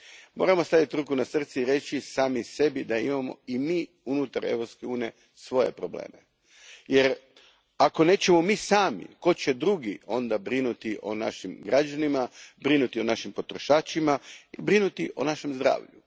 Moramo staviti ruku na srce i reći sami sebi da imamo i mi unutar Europske unije svoje probleme jer ako nećemo mi sami tko će drugi brinuti onda o našim građanima, brinuti o našim potrošačima, brinuti o našem zdravlju?